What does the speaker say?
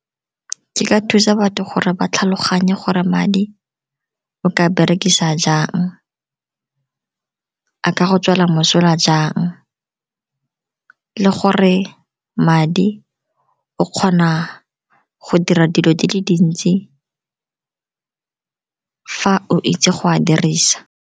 Ke ka thusa batho gore ba tlhaloganye gore madi o ka berekisa jang, a ka go tswela mosola jang, le gore madi o kgona go dira dilo di le dintsi fa o itse go a dirisa.